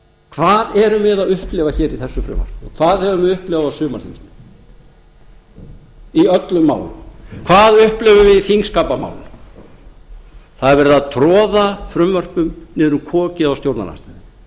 hvað erum við að upplifa hér í þessu frumvarpi og hvað höfum við upplifað á sumarþingi í öllum málum hvað upplifum við í þingskapamálum það er verið að troða frumvörpum niður um kokið á stjórnarandstöðunni